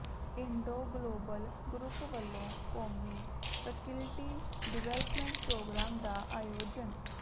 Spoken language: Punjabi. ਇੰਡੋ ਗਲੋਬਲ ਗਰੁੱਪ ਵੱਲੋਂ ਕੌਮੀ ਫੈਕਲਟੀ ਡਿਵੈਲਪਮੈਂਟ ਪ੍ਰੋਗਰਾਮ ਦਾ ਆਯੋਜਨ